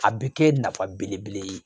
A bɛ kɛ nafa belebele ye